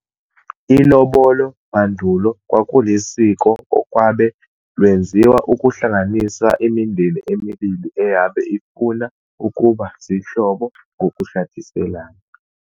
iLobolo mandulo kwakulisiko olwabe lwenziwa ukuhlanganisa imindeni emibili eyabe ifuna ukuba zihlobo ngokushadiselana.